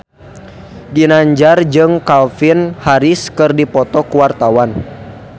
Ginanjar jeung Calvin Harris keur dipoto ku wartawan